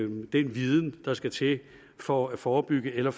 den viden der skal til for at forebygge eller